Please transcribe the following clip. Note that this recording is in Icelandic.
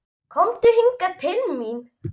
Komdu hingað til mín!